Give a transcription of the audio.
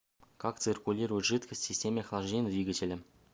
как циркулирует жидкость в системе охлаждения двигателя